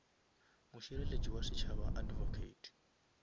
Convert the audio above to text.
mošireletši wa setšhaba advocate